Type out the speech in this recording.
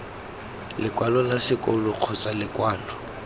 lekwalo la sekolo kgotsa lekwalo